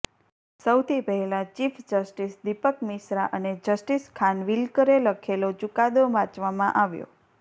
સૌથી પહેલાં chief justice Dipak Misra અને જસ્ટિસ ખાનવિલકરે લખેલો ચુકાદો વાંચવામાં આવ્યો